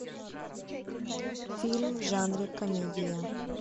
фильм в жанре комедия